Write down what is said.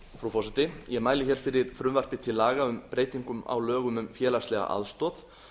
frú forseti ég mæli hér fyrir frumvarpi til laga um breytingu á lögum um félagslega aðstoð